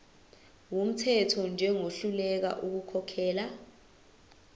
wumthetho njengohluleka ukukhokhela